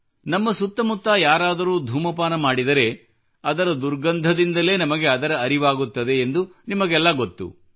ನಮ್ಮ ಸುತ್ತಮುತ್ತ ಯಾರಾದರೂ ಧೂಮಪಾನ ಮಾಡಿದರೆ ಅದರ ದುರ್ಗಂಧದಿಂದಲೇ ನಮಗೆ ಅದರ ಅರಿವಾಗುತ್ತದೆ ಎಂದು ನಿಮಗೆಲ್ಲ ಗೊತ್ತು